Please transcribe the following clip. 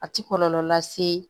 A ti kɔlɔlɔ lase